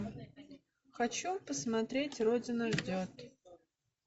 хочу посмотреть родина ждет